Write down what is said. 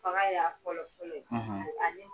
Fanga in y'a fɔlɔfɔlɔ ye;